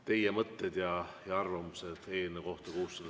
Teie mõtted ja arvamused eelnõu 607 kohta.